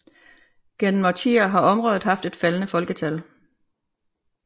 Gennem årtier har området haft et faldende folketal